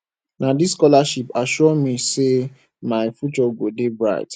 na dis scholarship assure me sey my future go dey bright